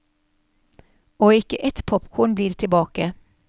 Og ikke ett popkorn blir tilbake.